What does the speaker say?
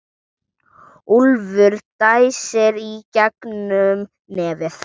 Úlfur dæsir í gegnum nefið.